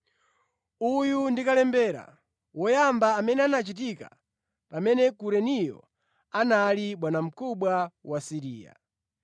(Uyu ndi kalembera woyamba amene anachitika pamene Kureniyo anali bwanamkubwa wa Siriya).